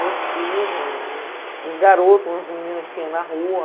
Meus primos, uns garotos, umas meninas que tinha na rua.